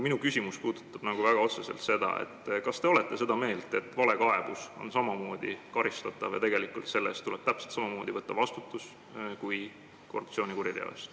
Minu küsimus puudutab otseselt seda, kas te olete seda meelt, et valekaebus on samamoodi karistatav ja selle eest tuleb täpselt samamoodi võtta vastutus kui korruptsioonikuriteo eest.